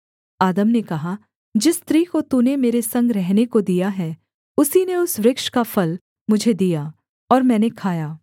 आदम ने कहा जिस स्त्री को तूने मेरे संग रहने को दिया है उसी ने उस वृक्ष का फल मुझे दिया और मैंने खाया